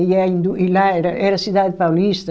E a indu e lá era era Cidade Paulista...